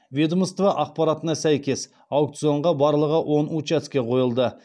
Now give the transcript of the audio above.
ведомство ақпаратына сәйкес аукционға барлығы он учаске қойылды